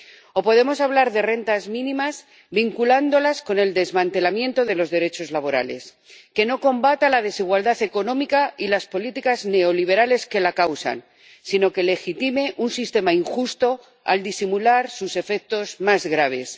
o podemos hablar de rentas mínimas vinculándolas con el desmantelamiento de los derechos laborales, sin combatir la desigualdad económica y las políticas neoliberales que la causan, sino legitimando un sistema injusto al disimular sus efectos más graves.